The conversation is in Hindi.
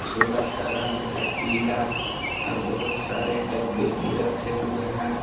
का रंग है पीला और बहुत सारे डब्बे भी रखे हुए हैं।